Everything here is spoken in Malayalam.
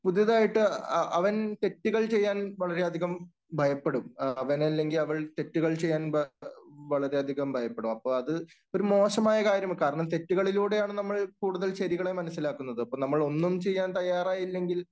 പുതിയതായിട്ട് അവൻ തെറ്റുകൾ ചെയ്യാൻ വളരെയധികം ഭയപ്പെടും. അവൻ അല്ലെങ്കിൽ അവൾ തെറ്റുകൾ ചെയ്യാൻ ഭയ വളരെയധികം ഭയപ്പെടും. അപ്പോ അത് മോശമായ ഒരു കാര്യം. കാരണം തെറ്റുകളിലൂടെയാണ് നമ്മൾ കൂടുതൽ ശരികളെ മനസിലാക്കുന്നത്. അപ്പോൾ നമ്മൾ ഒന്നും ചെയ്യാൻ തയ്യാറായില്ലെങ്കിൽ